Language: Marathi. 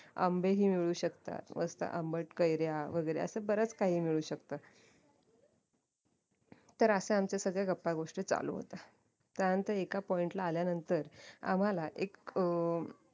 आंबे ही मिळू शकतात मस्त आंबट कैऱ्या वैगेरे असं बरच काही मिळू शकत तर असं आमचं गपागोष्टी चालू होत्या त्यानंतर एका point ला आल्यानंतर आम्हाला एक अह